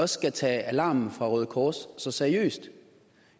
skal tage alarmen fra røde kors så seriøst